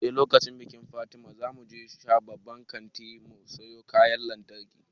Sai lokacin bikin fatima zamu shiga babban kanti mu siyo kayan lantarki